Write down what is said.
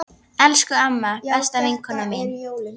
Elsku amma, besta vinkona mín.